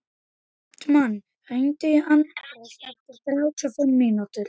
Hartmann, hringdu í Anders eftir þrjátíu og fimm mínútur.